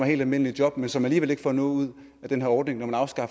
helt almindeligt job men som alligevel ikke ville få noget ud af den her ordning med